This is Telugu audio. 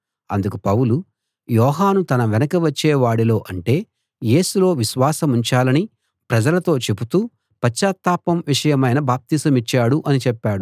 అందుకు పౌలు యోహాను తన వెనక వచ్చే వాడిలో అంటే యేసులో విశ్వాసముంచాలని ప్రజలతో చెబుతూ పశ్చాత్తాపం విషయమైన బాప్తిసమిచ్చాడు అని చెప్పాడు